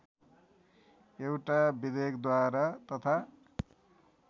एउटा विधेयकद्वारा तथा